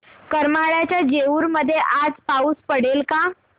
करमाळ्याच्या जेऊर मध्ये आज पाऊस पडेल का